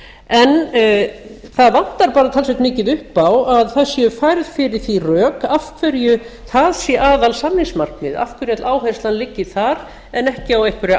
en það vantar bara talsvert mikið upp á að það séu færð fyrir því rök af hverju það sé aðalsamningsmarkið af hverju áherslan liggi þar en ekki á einhverja